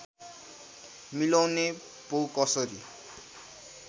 मिलाउने पो कसरी